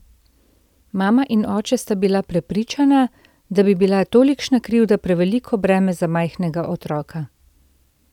Mama in oče sta bila prepričana, da bi bila tolikšna krivda preveliko breme za majhnega otroka.